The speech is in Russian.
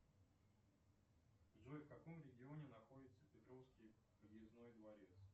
джой в каком регионе находится петровский подъездной дворец